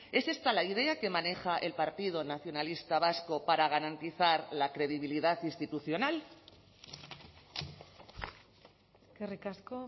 es esta la idea que maneja el partido nacionalista vasco para garantizar la credibilidad institucional eskerrik asko